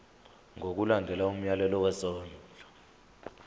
ngokulandela umyalelo wesondlo